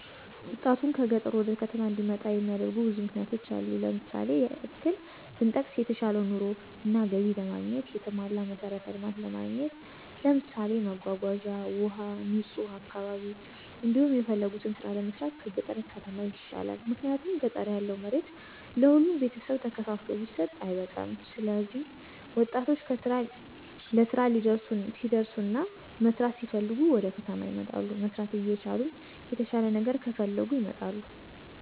ወጣቱን ከገጠር ወደ ከተማ እንዲመጣ የሚያደርጉ ብዙ ምክንያቶች አሉ። ለምሳሌ ያክል ብንጠቅስ የተሻለ ኑሮ እና ገቢ ለማግኘት፣ የተሟላ መሠረተ ልማት ለማግኘት ለምሳሌ መጓጓዣ፣ ውሀ፣ ንጹህ አካባ፤ እንዲሁም የፈለጉትን ስራ ለመስራት ከገጠር ከተማ ይሻላል። ምክንያቱም ገጠር ያለው መሬት ለሁሉም ቤተሰብ ተከፋፍሎ ቢሰጥ አይበቃም ስለዚህ ወጣቶች ለስራ ሲደርሱና መስራት ሲፈልጉ ወደከተማ ይመጣሉ። መስራት እየቻሉም የተሻለ ነገር ከፈለጉ ይመጣሉ